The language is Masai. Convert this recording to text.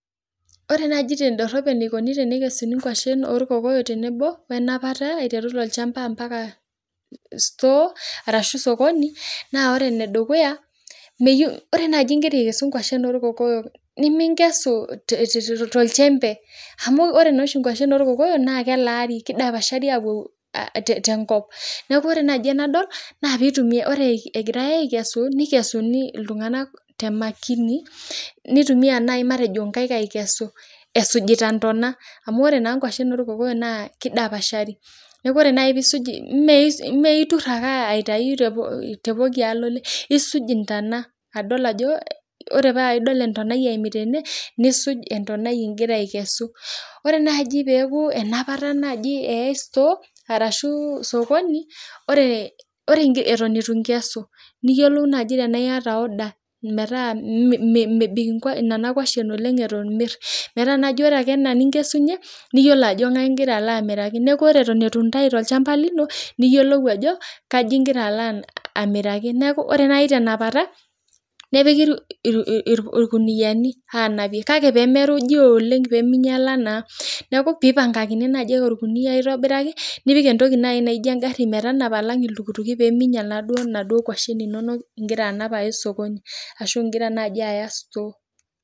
Ore naaji tedorop enikoni tenikesuni enkwashen orkokoyok wee napata aiteru tolchamba mbaka store arashu sokoni naa ore enedukuya ore naaji egira aikesu enkwashen orkokoyok nimingesu tolchembe amu ore enkwashen orkokoyok naa kelari kidapashari apuo tenkop neeku ore naaji egira iltung'ana aikesu nikesunj iltung'ana tee makini nitumia naaji matejo enkaik aikesu esujita entona amu ore naaji enkwashen orkokoyok naa kidapashari mee etur aitau tepooki alolee esuj entona adol Ajo ore pee adol entonai eyimita ede nisuj entonai aikesu ore naaji peku enapata eyaitai store arashu sokoni ore etoyin eitu enkesu niyiolou naaji tenaa eyataa order metaa mebik Nena kwashen oleng metaa ore Eton enaa eninkesunye naa eyiolo Ajo ngae eloito amiraki neeku ore Eton eitu Entau tolchamba lino niyiolo Ajo ngae eloito amiraki neeku ore naaji tenakata nepiki irkuniani anaapie kake pee merunyi oleng amu kinyiala naa neeku pee eipangakini orkunia aitobiraki nipik entoki naijio egari metanapa alang iltukutuki pee minyial enkwashen egira anap Aya osokoni ashu egira anap Aya store